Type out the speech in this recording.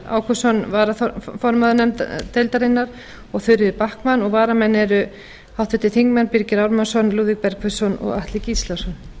ágústsson varaformaður deildarinnar og þuríður backman og varamenn eru háttvirtir þingmenn birgir ármannsson lúðvík bergvinsson og atli gíslason